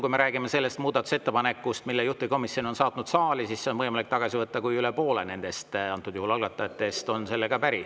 Kui me räägime sellest muudatusettepanekust, mille juhtivkomisjon on saatnud saali, siis see on võimalik tagasi võtta, kui üle poole algatajatest on sellega päri.